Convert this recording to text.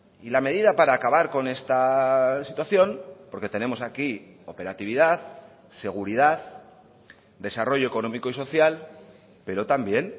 y la medida para acabar con esta situación porque tenemos aquí operatividad seguridad desarrollo económico y social pero también